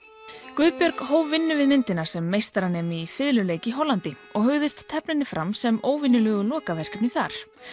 Guðbjörg hóf vinnu við myndina sem meistaranemi í fiðluleik í Hollandi og hugðist tefla henni fram sem óvenjulegu lokaverkefni þar